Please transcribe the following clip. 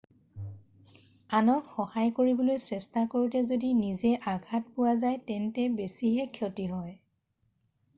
আনক সহায় কৰিবলৈ চেষ্টা কৰোঁতে যদি নিজে আঘাত পোৱা যায় তেন্তে বেছিহে ক্ষতি হয়